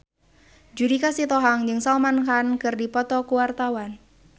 Judika Sitohang jeung Salman Khan keur dipoto ku wartawan